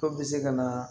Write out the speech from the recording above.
Dɔw bɛ se ka na